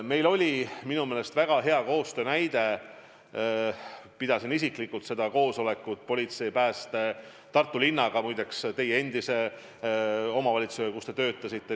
Meil oli väga hea koostöö, kui ma pidasin isiklikult koosolekut politsei, Päästeameti ja Tartu linnaga – muide, omavalitsusega, kus te kunagi töötasite.